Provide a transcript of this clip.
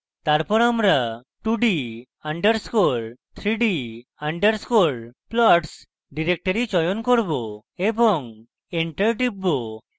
তারপর আমরা 2d _ 3d _ plots directory চয়ন করব এবং enter টিপব